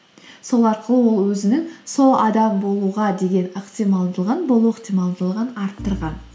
сол арқылы ол өзінің сол адам болуға деген ықтималдылығын болу ықтималдылығын арттырған